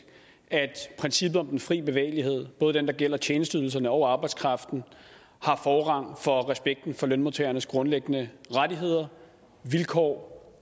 at princippet om den fri bevægelighed både den der gælder tjenesteydelserne og arbejdskraften har forrang for respekten for lønmodtagernes grundlæggende rettigheder vilkår